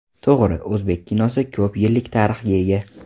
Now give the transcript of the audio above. To‘g‘ri, o‘zbek kinosi ko‘p yillik tarixga ega.